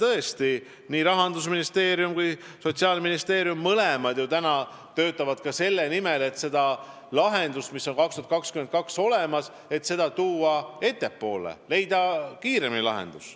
Ja tõesti, nii Rahandusministeerium kui ka Sotsiaalministeerium mõlemad praegu töötavad ka selle nimel, et lahendust, mis on aastaks 2022 olemas, ettepoole tuua, et leida lahendus kiiremini.